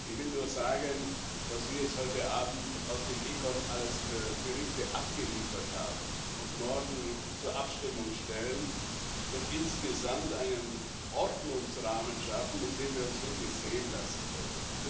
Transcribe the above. Ich will nur sagen Was wir jetzt heute Abend aus dem Ausschuss für Wirtschaft und Währung alles für Berichte abgeliefert haben und morgen zur Abstimmung stellen, wird insgesamt einen Ordnungsrahmen schaffen, mit dem wir uns wirklich sehen lassen können.